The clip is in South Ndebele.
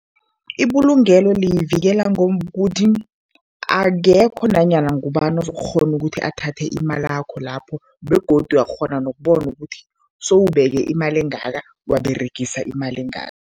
Ibulungelo liyivikela ngokuthi, akekho nanyana ngubani uzokukghona ukuthi athathe imalakho lapho begodu uyakghona nokubona ukuthi sewubeke imali engaka, waberegise imali engaka.